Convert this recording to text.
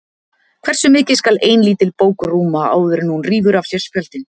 Hversu mikið skal ein lítil bók rúma áður en hún rífur af sér spjöldin?